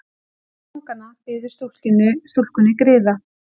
Einn fanganna biður stúlkunni griða.